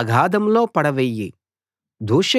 అగాధంలో పడవెయ్యి